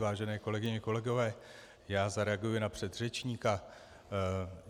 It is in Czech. Vážené kolegyně, kolegové, já zareaguji na předřečníka.